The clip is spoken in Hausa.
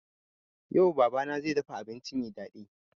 Yau baba na zai dafa abinci mai daɗi